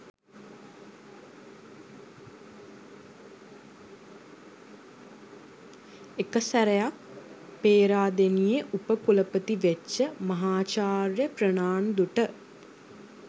එක සෑරයක් පේරදෙනියෙ උප කුලපති වෙච්ච මහාචාර්ය ප්‍රනාන්දුට